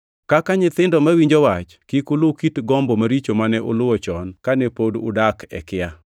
Kaka nyithindo mawinjo wach, kik ulu kit gombo maricho mane uluwo chon kane pod udak e kia.